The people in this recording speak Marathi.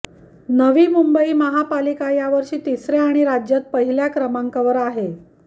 नवी मुंबई महापालिका यावर्षी तिसऱ्या आणि राज्यात पहिल्या क्रमांकावर आहे